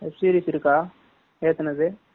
Web series இருக்கா ஏத்துனது?